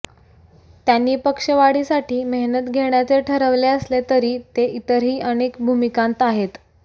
त्यांनी पक्षवाढीसाठी मेहनत घेण्याचे ठरवले असले तरी ते इतरही अनेक भूमिकांत आहेत